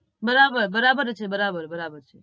બરાબર બરાબર છે બરાબર બરાબર